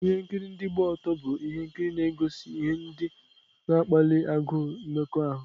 Ihe nkiri ndị gba ọtọ bụ ihe nkiri na-egosi ihe ndị na-akpali agụụ mmekọahụ.